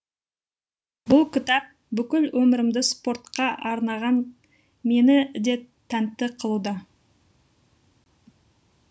бұл кітап бүкіл өмірімді спортқа арнаған мені де тәнті қылды